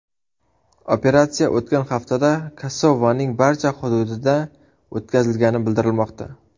Operatsiya o‘tgan haftada Kosovaning barcha xududida o‘tkazilgani bildirilmoqda.